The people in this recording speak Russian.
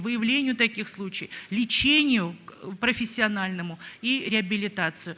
выявлению таких случай лечению к профессиональному и реабилитацию